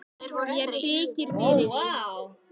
Mér þykir fyrir því.